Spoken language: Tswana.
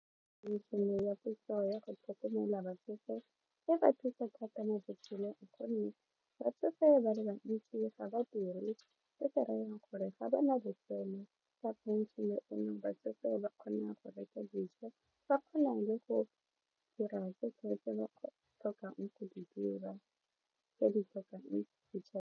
Ya setso ya go tlhokomela batsofe e ba thusa thata mo botshelong gonne batsofe ba le bantsi ga ba diri se se rayang gore ga ba na letseno ka phenšene eno batsofe ba kgona go reka dijo ba kgona le go dira ba tlhokang go di dira tse di tlhokang .